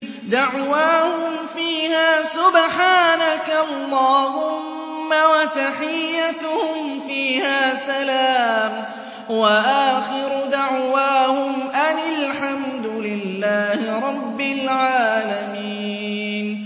دَعْوَاهُمْ فِيهَا سُبْحَانَكَ اللَّهُمَّ وَتَحِيَّتُهُمْ فِيهَا سَلَامٌ ۚ وَآخِرُ دَعْوَاهُمْ أَنِ الْحَمْدُ لِلَّهِ رَبِّ الْعَالَمِينَ